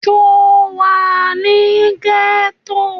Sọ wà ní gẹ́tọ̀?